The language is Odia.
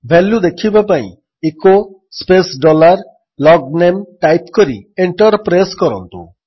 ଭାଲ୍ୟୁ ଦେଖିବା ପାଇଁ echo space dollar logname type କରି ଏଣ୍ଟର୍ ପ୍ରେସ୍ କରନ୍ତୁ